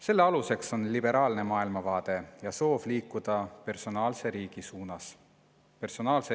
Selle aluseks on liberaalne maailmavaade ja soov liikuda personaalse riigi suunas.